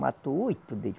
Matou oito deles.